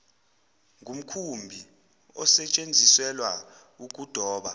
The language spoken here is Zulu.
ngumkhumbi osetsheziselwa ukudoba